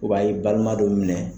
a ye i balima dɔ minɛ.